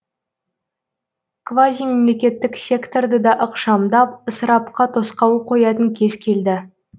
квазимемлекеттік секторды да ықшамдап ысырапқа тосқауыл қоятын кез келді